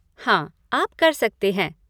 हाँ, आप कर सकते हैं।